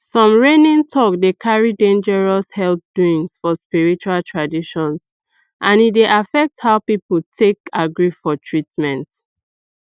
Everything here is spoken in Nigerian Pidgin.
some reigning talk dey carry dangerous health doings for spiritual traditions and e dey affect how people take agree for treatment